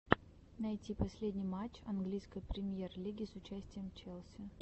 найти последний матч английской премьер лиги с участием челси